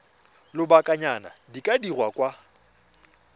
lobakanyana di ka dirwa kwa